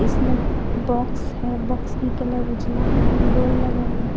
इसमें बॉक्स है बॉक्स की कलर उजला है बल लगा हुआ है।